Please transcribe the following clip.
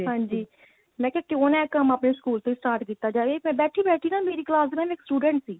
ਹਾਂਜੀ ਮੈਂ ਕਿਹਾ ਕਿਉ ਨਾ ਇਹ ਕੰਮ ਆਪਣੇ school ਚ start ਕੀਤਾ ਜਾਵੇ ਇਹ ਫੇਰ ਬੈਠੀ ਬੈਠੀ ਨਾ ਮੇਰੀ ਕਲਾਸ ਦਾ ਨਾ ਇੱਕ student ਸੀ